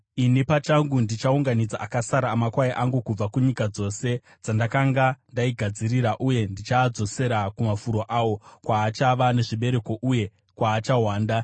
“Ini pachangu ndichaunganidza akasara amakwai angu kubva kunyika dzose dzandakanga ndaadzingira uye ndichaadzosera kumafuro awo, kwaachava nezvibereko uye kwaachawanda.